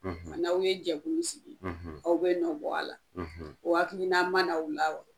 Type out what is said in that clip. n'aw ye jɛkulu sigi, aw bɛ nɔ bɔ a la, o hakilina man'aw la wa?